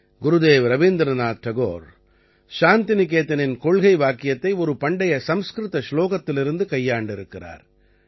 குருதேவ் ரவீந்திரநாத் டகோர் சாந்திநிகேதனின் கொள்கை வாக்கியத்தை ஒரு பண்டைய சம்ஸ்கிருத சுலோகத்திலிருந்து கையாண்டிருக்கிறார்